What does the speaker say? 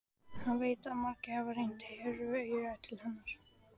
Hann veit að margir hafa rennt hýru auga til hennar.